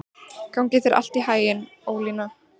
Gangi þér allt í haginn, Ólína.